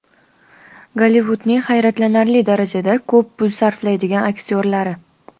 Gollivudning hayratlanarli darajada ko‘p pul sarflaydigan aktyorlari.